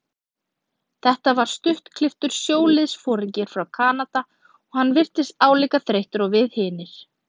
Þetta var stuttklipptur sjóliðsforingi frá Kanada og hann virtist álíka þreyttur og við hinir.